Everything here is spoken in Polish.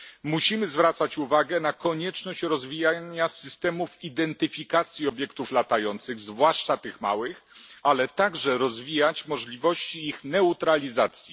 Musimy zwracać uwagę na konieczność rozwijania systemów identyfikacji obiektów latających, zwłaszcza tych małych, ale także rozwijać możliwości ich neutralizacji.